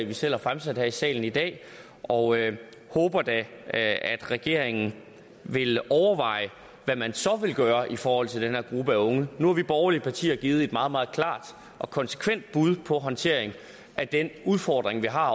vi selv har fremsat her i salen i dag og håber da at regeringen vil overveje hvad man så vil gøre i forhold til den her gruppe af unge nu har vi borgerlige partier givet et meget meget klart og konsekvent bud på håndtering af den udfordring vi har